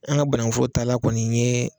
An ka banankun foro taa lan kɔni ye.